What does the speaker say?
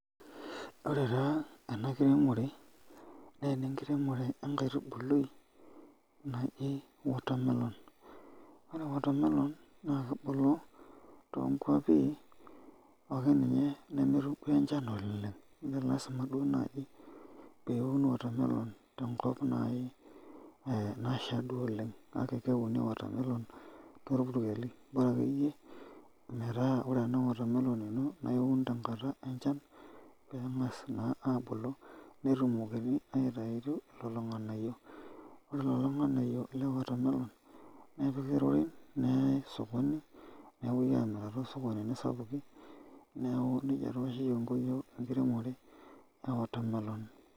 Ore taa ena kiremore naa enekiremore ekaitubului naji watermelon, ore watermelon naa kebulu too nkwapi akeninye nemetum duoo enchan ooleng meelazimaa duoo naaji peuni watermelon tenkop naaii nashaa duoo oleng, ake keeuni watermelon toorpukeli bora akeyie metaa ore ena watermelon naa iiuun tenkata enchan peen'gas naa abulu netumokini aitayu lelo ng'anayio, ore kulo ng'anayio le watermelon nepiki irorin neyae sokoni nepoi amirr toosookonini sapukin neeku nejia taa oshi kingo yiook ekiremore ee watermelon.